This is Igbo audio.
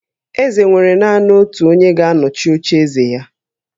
Eze nwere naanị otu onye ga-anọchi ocheeze ya